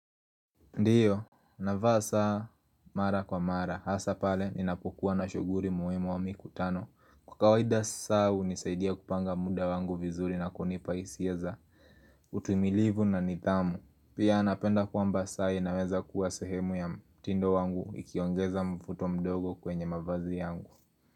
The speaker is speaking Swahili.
Ndiyo, navaa saa mara kwa mara, hasa pale ninapokuwa na shughuri muhimu au mikutano. Kwa kawaida saa hunisaidia kupanga muda wangu vizuri na kunipa hisia za, utumilivu na nidhamu. Pia napenda kwamba saa inaweza kuwa sehemu ya mtindo wangu ikiongeza mfuto mdogo kwenye mavazi yangu.